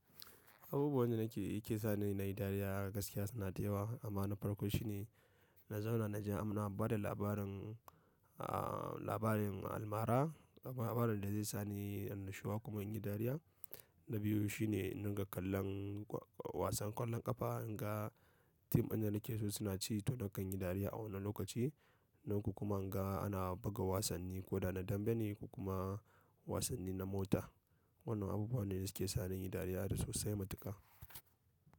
Abubuwan da nake yi ke sa ni nayi dariya a gaskiya suna da yawa amma na farko shine na zauna na ji ana bada labarin, ah labarin almara, labarin da zai sa ni annishi wa kuma in yi dariya. Na biyu shine in dinga kallon wasan ƙwallon ƙafa, naga tim ɗin da nake so suna ci to nakan yi dariya a wannan lokaci. Kuma inga ana buga wasanni ko da na dambe ne ko kuma wasanni na mota. Wannan abubuwa ne da suke sa ni in yi dariya da sosai matuƙa.